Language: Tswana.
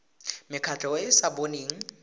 mekgatlho e e sa boneng